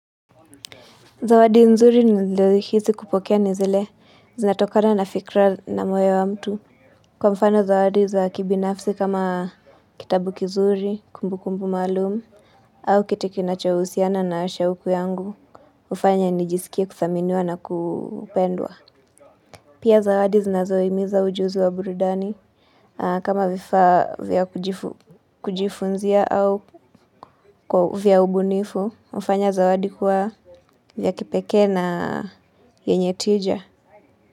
Zawadi nzuri nililo hisi kupokea ni zile, zinatokana na fikra na moyo wa mtu. Kwa mfano zawadi za kibinafsi kama kitabu kizuri, kumbu kumbu maalumu, au kitu kinachohusiana na shawuku yangu, uhufanya nijisikia kuthaminiwa na kupendwa. Pia zawadi zinazoimiza ujuzi wa burudani, kama vifaa vya kujifunzia au vya ubunifu, hufanya zawadi kuwa ya kipeke na yenye tija.